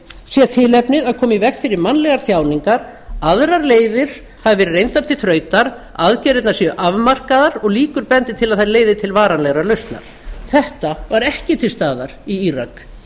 sé tilefnið að koma í veg fyrir mannlegar þjáningar aðrar fleiri hafi verið reyndar til þrautar aðgerðirnar séu afmarkaðar og líkur bendi til að þær leiði til varanlegrar lausnar þetta var ekki til staðar í írak